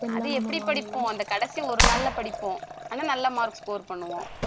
அது எப்படி படிப்போம் அந்த கடைசி ஒரு நாள்ல படிப்போம் ஆனா நல்ல marks score பண்ணுவோம்